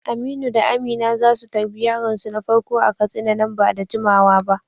Aminu da Amina za su tarbi yaronsu na farko a Katsina nan ba da jimawa ba.